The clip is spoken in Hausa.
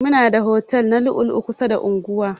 Muna da otel na lu'u lu'u kusa da anguwa.